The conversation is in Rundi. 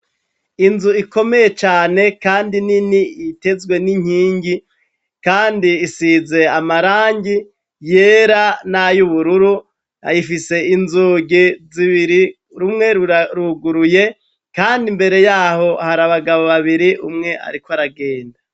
Inzu ikomeye cane kandi nini itezwe n'inkingi kandi isize amarangi yera nay'ubururu, ayifise inzugi zibiri, rumwe ruruguruye kandi imbere yaho hari abagabo babiri, umwe ariko aragenda.